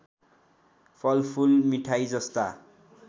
फलफुल मिठाई जस्ता